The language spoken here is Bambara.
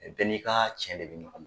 Bɛɛ n'i ka cɛ de bɛ ɲɔgɔn nɔ